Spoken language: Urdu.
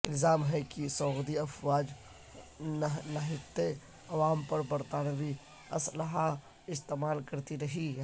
الزام ہے کہ سعودی افواج نہتے عوام پر برطانوی اسلحہ استعمال کرتی رہی ہیں